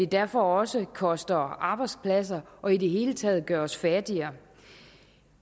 derfor også koster arbejdspladser og i det hele taget gør os fattigere